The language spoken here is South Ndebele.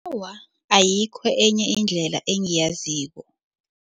Awa, ayikho enye indlela engiyaziko.